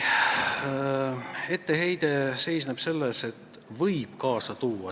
Etteheide seisneb selles, et see võib midagi halba kaasa tuua.